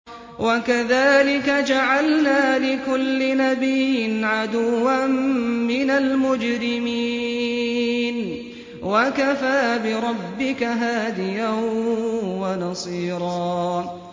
وَكَذَٰلِكَ جَعَلْنَا لِكُلِّ نَبِيٍّ عَدُوًّا مِّنَ الْمُجْرِمِينَ ۗ وَكَفَىٰ بِرَبِّكَ هَادِيًا وَنَصِيرًا